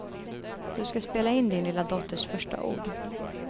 Du ska spela in din lilla dotters första ord.